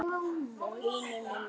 Vinur minn Andrés!